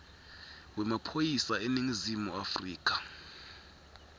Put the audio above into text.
wemaphoyisa eningizimu afrika